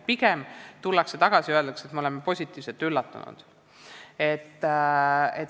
Pigem tullakse tagasi ja öeldakse, et ollakse positiivselt üllatunud.